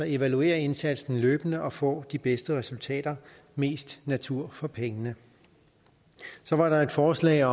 evaluere indsatsen løbende og få de bedste resultater mest natur for pengene så var der et forslag